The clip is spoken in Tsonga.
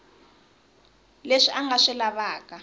leswi a nga swi lavaka